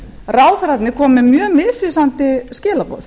ráðherrarnir koma með mjög misvísandi skilaboð